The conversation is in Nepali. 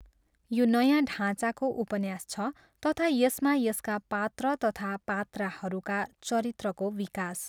यो नयाँ ढाँचाको उपन्यास छ तथा यसमा यसका पात्र तथा पात्राहरूका चरित्रको विकास.